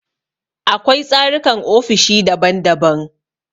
Akwai tsarukan ofishi daban daban.